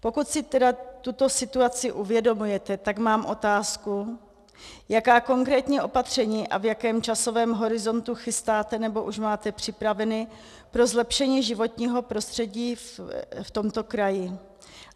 Pokud si tedy tuto situaci uvědomujete, tak mám otázku, jaká konkrétní opatření a v jakém časovém horizontu chystáte nebo už máte připravené pro zlepšení životního prostředí v tomto kraji.